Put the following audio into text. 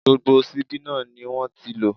Gbogbo ṣíbí náà ni wọ́n ti lò.